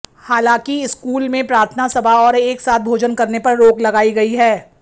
हालांकि स्कूल में प्रार्थना सभा और एक साथ भोजन करने पर रोक लगाई गई है